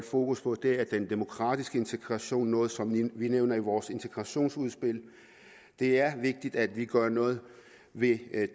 fokus på er den demokratiske integration noget som vi nævner i vores integrationsudspil det er vigtigt at vi gør noget ved